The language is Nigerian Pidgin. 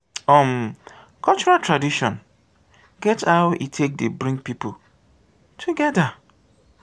um cultural tradition get how e take dey bring pipo together